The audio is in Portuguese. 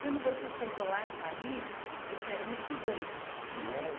Quando você chegou lá em Paris, você era uma estudante, né?